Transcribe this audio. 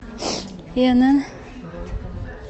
инн